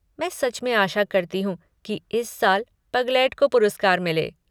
मैं सच में आशा करती हूँ कि इस साल पगलेट को पुरस्कार मिले।